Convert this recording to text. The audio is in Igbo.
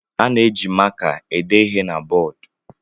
A na-eji maka ede ihe na bọọdụ.